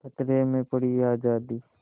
खतरे में पड़ी आज़ादी